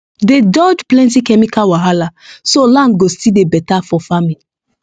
dey dodge plenty chemical wahala so land go still dey beta for farming